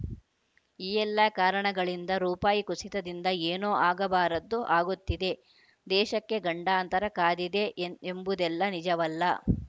ಈ ಎಲ್ಲ ಕಾರಣಗಳಿಂದ ರುಪಾಯಿ ಕುಸಿತದಿಂದ ಏನೋ ಆಗಬಾರದ್ದು ಆಗುತ್ತಿದೆ ದೇಶಕ್ಕೆ ಗಂಡಾಂತರ ಕಾದಿದೆ ಎಂ ಎಂಬುದೆಲ್ಲ ನಿಜವಲ್ಲ